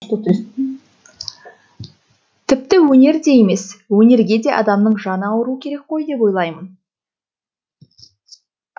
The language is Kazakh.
тпіті өнер де емес өнерге де адамның жаны ауыруы керек қой деп ойлаймын